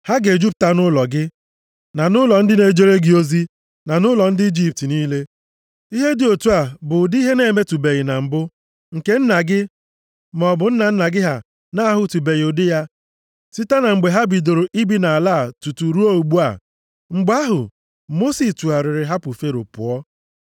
Ha ga-ejupụta nʼụlọ gị, na nʼụlọ ndị na-ejere gị ozi, na nʼụlọ ndị Ijipt niile. Ihe dị otu a bụ ụdị ihe na-emetụbeghị na mbụ, nke nna gị maọbụ nna nna gị ha na-ahụtụbeghị ụdị ya site na mgbe ha bidoro ibi nʼala a tutu ruo ugbu a.’ ” Mgbe ahụ, Mosis tụgharịrị hapụ Fero pụọ.